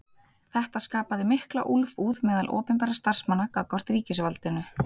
Þetta skapaði mikla úlfúð meðal opinberra starfsmanna gagnvart ríkisvaldinu.